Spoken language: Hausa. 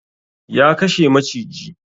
Ya kashe maciji